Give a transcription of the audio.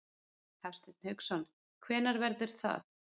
Hafsteinn Hauksson: Hvenær verður það?